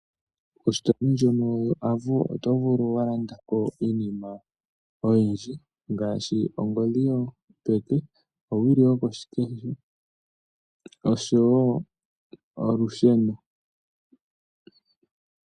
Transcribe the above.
Ositola ndjono yoAvo otovulu walanda ko iinima oyindji ngaashi, ongodhi yopeke, owili yokoshikesho oshowo olusheno.